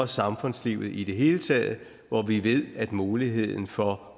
samfundslivet i det hele taget hvor vi ved at muligheden for